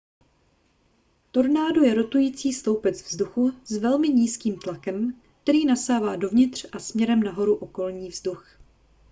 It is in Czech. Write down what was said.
tornádo je rotující sloupec vzduchu s velmi nízkým tlakem který nasává dovnitř a směrem nahoru okolní vzduch